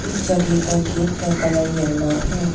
इस जगह का गेट का कलर येलो है।